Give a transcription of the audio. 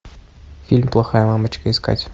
фильм плохая мамочка искать